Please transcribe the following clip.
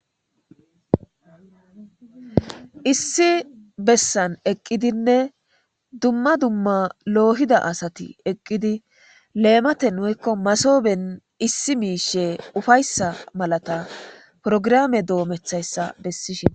Issi bessan eqqidinne dumma dumma loohid asathi eqqidi leemathen woykko massoben issi miishshee ufayssa malatha porograame doomeththayssa bessishe.